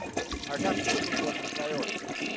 I have two important priorities.